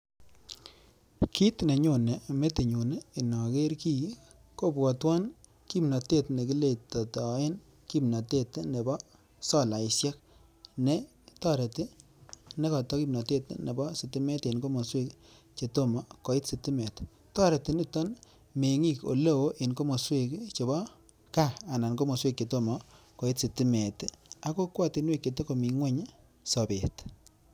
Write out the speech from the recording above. Kit nenyone metinyun inoker kiy kobwotwan kimnatet ne kiletoen kimnatet nebo solaishek ne toreti ne koto kimnatet nebo sitimet en kokwotinosiek che tomo koit sitimet. Toreti nito meng'ik ole oo en komoswek che bo gaa, anan komoswek che tomo koit sitimet ak kokwotinwek che togo mi ngweny sobet.